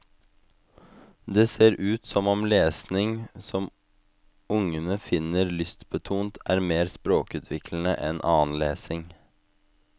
Det ser ut som om lesning som ungene finner lystbetont er mer språkutviklende enn annen lesning.